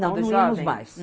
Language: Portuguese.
Não, não íamos mais.